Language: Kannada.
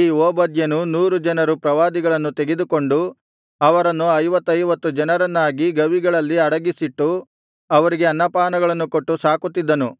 ಈ ಓಬದ್ಯನು ನೂರು ಜನರು ಪ್ರವಾದಿಗಳನ್ನು ತೆಗೆದುಕೊಂಡು ಅವರನ್ನು ಐವತ್ತೈವತ್ತು ಜನರನ್ನಾಗಿ ಗವಿಗಳಲ್ಲಿ ಅಡಗಿಸಿಟ್ಟು ಅವರಿಗೆ ಅನ್ನಪಾನಗಳನ್ನು ಕೊಟ್ಟು ಸಾಕುತ್ತಿದ್ದನು